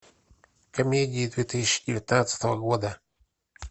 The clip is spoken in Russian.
комедии две тысячи девятнадцатого года